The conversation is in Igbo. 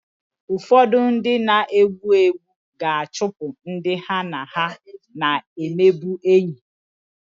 Ụfọdụ ndị na-egbu egbu ga-achụpụ ndị ha na ha na-emebụ enyị